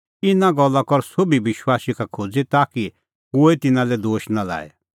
इना गल्ला कर सोभी विश्वासी का खोज़ी ताकि कोहै तिन्नां लै दोश नां लाए